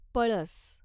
पळस